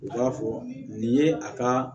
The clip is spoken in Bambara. U b'a fɔ nin ye a ka